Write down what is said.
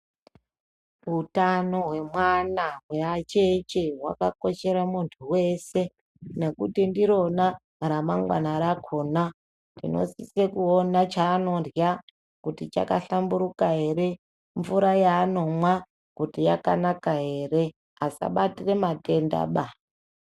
Utano hwemwana hweacheche hwakakoshera muntu wese nekuti ndirona ramangwana rakhona. Tinosise kuona chanondya kuti chakahlamburuka ere, mvura yanomwa kuti yakanaka ere asabatira matendaba.